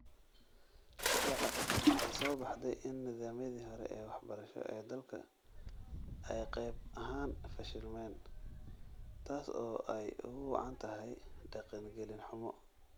Si cad, waxaa soo baxday in nidaamyadii hore ee waxbarasho ee dalka ay qayb ahaan fashilmeen taas oo ay ugu wacan tahay dhaqangelin xumo.